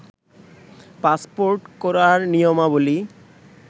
passport করার নিয়মাবলী